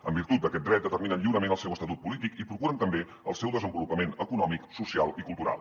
en virtut d’aquest dret determinen lliurement el seu estatut polític i procuren també el seu desenvolupament econòmic social i cultural